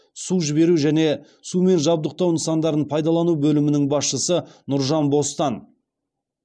су жіберу және сумен жабдықтау нысандарын пайдалану бөлімінің басшысы нұржан бостан